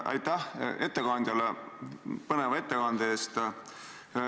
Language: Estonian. Aitäh ettekandjale põneva ettekande eest!